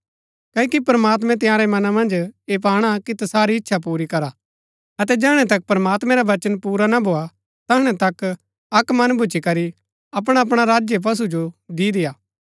क्ओकि प्रमात्मैं तंयारै मना मन्ज ऐह पाणा कि तसारी इच्छा पूरी करा अतै जैहणै तक प्रमात्मैं रा वचन पुरा ना भोआ तैहणा तक अक्क मन भूच्ची करी अपणा अपणा राज्य पशु जो दि देय्आ